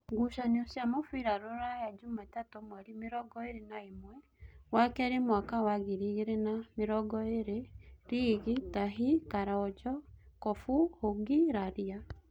Ngucanio cia mũbira Ruraya Jumatatũ mweri mĩrongoĩrĩ na ĩmwe wakeeri mwaka wa ngiri igĩrĩ na namĩrongoĩrĩ: Riigi, Tahi, Karonjo, Kobu, Hũngi, Raria